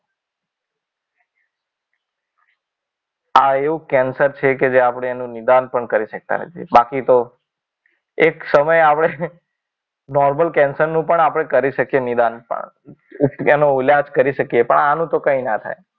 આ એવું કેન્સર છે કે જે આપણે એનું નિદાન પણ કરી શકતા નથી. બાકી તો એક સમયે આપણે નોર્મલ કેન્સરનું પણ આપણે કરી શકીએ નિદાન. પણ એનો ઈલાજ કરી શકીએ પણ આનું તો કંઈ ના થાય.